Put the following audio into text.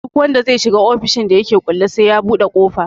Duk wanda zai shiga ofishin da yake kulle sai ya buɗe ƙofa